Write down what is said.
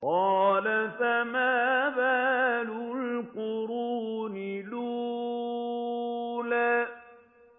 قَالَ فَمَا بَالُ الْقُرُونِ الْأُولَىٰ